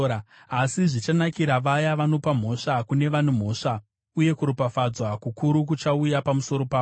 Asi zvichanakira vaya vanopa mhosva kune vane mhosva, uye kuropafadzwa kukuru kuchauya pamusoro pavo.